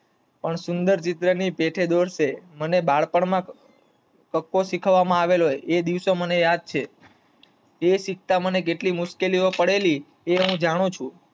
પણ સુંદર ચિત્ર ની પેઠે દોરશે, મને બાળપણ માં કક્કો શીખવા માં આવેલો એ દિવસે મને યાદ છે. એ શીખતાં મને કેટલી મુશ્કેલી પડેલી એ હું જાણું છું.